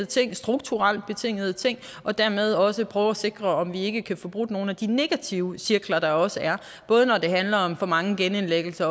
ting strukturelt betingede ting og dermed også prøver at sikre om vi ikke kan få brudt nogle af de negative cirkler der også er både når det handler om for mange genindlæggelser